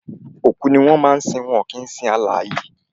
Òkú ni wọ́n máa ń sin kìí ṣe alààyè